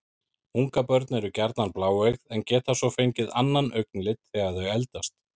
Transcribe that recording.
Ungabörn eru gjarnan bláeygð en geta svo fengið annan augnlit þegar þau eldast.